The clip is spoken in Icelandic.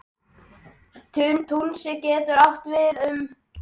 Túnis getur átt við um